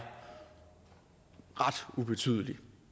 ret ubetydelig